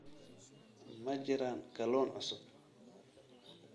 Ma jiraan kalluun cusub?